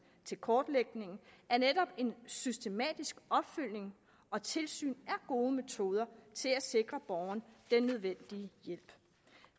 til kortlægningen at netop en systematisk opfølgning og tilsyn er gode metoder til at sikre borgeren den nødvendige hjælp